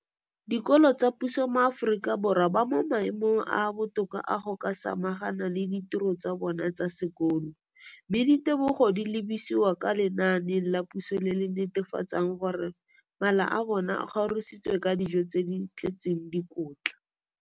Dikolo tsa puso mo Aforika Borwa ba mo maemong a a botoka a go ka samagana le ditiro tsa bona tsa sekolo, mme ditebogo di lebisiwa kwa lenaaneng la puso le le netefatsang gore mala a bona a kgorisitswe ka dijo tse di tletseng dikotla.